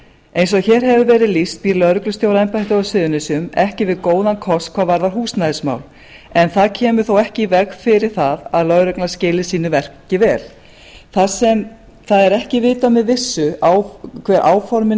eins og hér hefur verið lýst býr lögreglustjóraembættið á suðurnesjum ekki við góðan kost hvað varðar húsnæðismál en það kemur þó ekki í veg fyrir að lögreglan skili sínu verki vel þar sem það er ekki vitað með vissu hver áformin